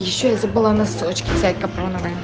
ещё я забыла носочки взять капроновые